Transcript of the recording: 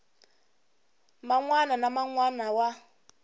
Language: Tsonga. man wana na man wana